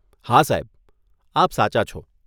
હા સાહેબ, આપ સાચા છો.